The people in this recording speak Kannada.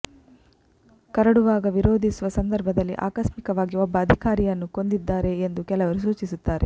ಕರಡುವಾಗ ನಿರೋಧಿಸುವ ಸಂದರ್ಭದಲ್ಲಿ ಆಕಸ್ಮಿಕವಾಗಿ ಒಬ್ಬ ಅಧಿಕಾರಿಯನ್ನು ಕೊಂದಿದ್ದಾನೆ ಎಂದು ಕೆಲವರು ಸೂಚಿಸುತ್ತಾರೆ